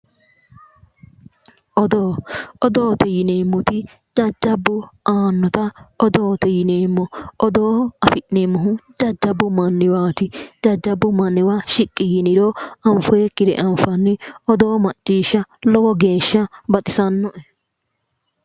Odoo odoote yineemmoti jajjabbu aannota odoote yineemmo odoo afi'neemmohu jajjabbu manniwaati jajjabbu manniwa yiqqi yiniro anfoyikkire anfanni odoo macciishsha lowo geeshsha baxisannoe